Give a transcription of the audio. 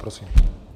Prosím.